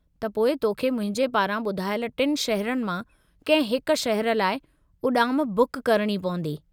त पोइ तोखे मुंहिंजे पारां ॿुधायलु टिनि शहरनि मां कंहिं हिक शहरु लाइ उॾाम बुक करणी पवंदी।